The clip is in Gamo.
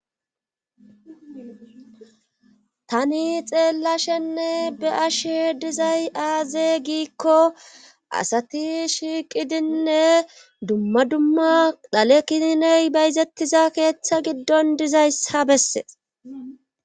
tani xeellashenne be7ashe dizay aazee giikko asati shiiqidinne dumma dumma dhale kininney bayzettiza keetta giddon dizayssa besses.